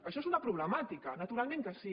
això és una problemàtica naturalment que sí